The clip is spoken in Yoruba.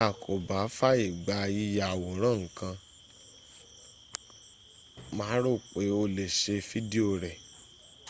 tí a kò bá fàyègba yíya àwòrán ǹkan má rò pé o lé ṣe fídíò rẹ̀